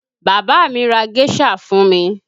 Bàbá mi ra géṣà fún mi